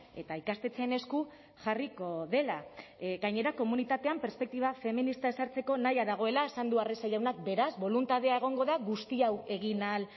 eta ikastetxeen esku jarriko dela gainera komunitatean perspektiba feminista ezartzeko nahia dagoela esan du arrese jaunak beraz boluntadea egongo da guzti hau egin ahal